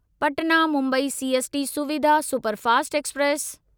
Patna Mumbai CST Suvidha superfast express